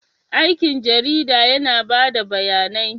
Aikin jarida yana ba da bayanai.